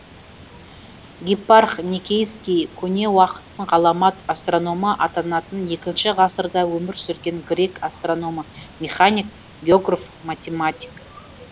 гиппарх никейский көне уақыттың ғаламат астрономы атанатын екінші ғасырда өмір сүрген грек астрономы механик географ математик